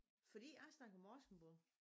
Fordi jeg snakker morsingbo